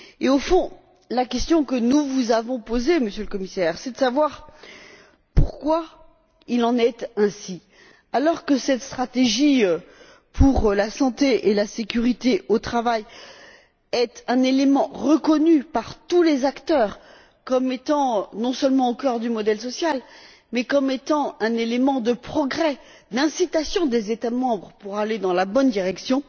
Au fond, la question que nous vous avons posée, Monsieur le Commissaire, est de savoir pourquoi il en est ainsi, alors que cette stratégie pour la santé et la sécurité au travail est un élément reconnu par tous les acteurs comme étant non seulement au cœur du modèle social mais comme étant aussi un élément de progrès, d'incitation des États membres à aller dans la bonne direction.